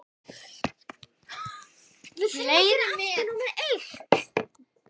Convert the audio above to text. Fleiri met voru slegin.